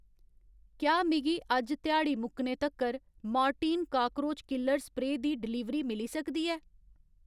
क्या मिगी अज्ज ध्याड़ी मुकने तक्कर मोर्टीन काकरोच किलर स्प्रेऽ दी डलीवरी मिली सकदी ऐ?